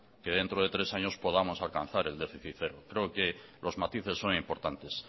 que dentro de tres años podamos alcanzar el déficit cero creo que los matices son importantes